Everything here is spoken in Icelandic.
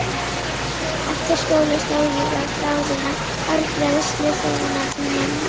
Eftir skóla sló ég á þráðinn á hárgreiðslustofuna til mömmu.